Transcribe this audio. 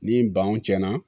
Ni banw cɛnna